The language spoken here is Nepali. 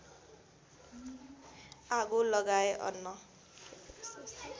आगो लगाए अन्न